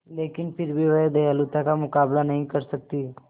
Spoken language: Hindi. लेकिन फिर भी वह दयालुता का मुकाबला नहीं कर सकती